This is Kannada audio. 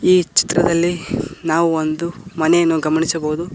ಈ ಚಿತ್ರದಲ್ಲಿ ನಾವು ಒಂದು ಮನೇನು ಗಮನಿಸಬಹುದು.